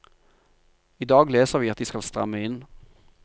I dag leser vi at de skal stramme inn.